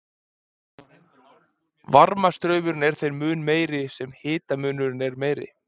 Varmastraumurinn er þeim mun meiri sem hitamunurinn er meiri.